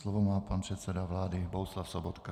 Slovo má pan předseda vlády Bohuslav Sobotka.